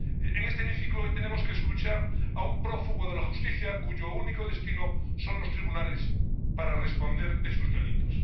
En este hemiciclo hoy tenemos que escuchar a un prófugo de la justicia, cuyo único destino son los tribunales para responder de sus delitos.